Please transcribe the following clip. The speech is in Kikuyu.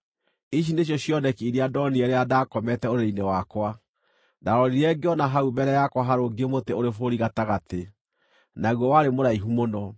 Ici nĩcio cioneki iria ndonire rĩrĩa ndaakomete ũrĩrĩ-inĩ wakwa: Ndarorire ngĩona hau mbere yakwa harũngiĩ mũtĩ ũrĩ bũrũri gatagatĩ. Naguo warĩ mũraihu mũno.